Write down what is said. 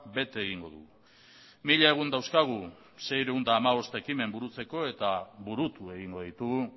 bete egingo dugu mila egun dauzkagu seiehun eta hamabost ekimen burutzeko eta burutu egingo ditugu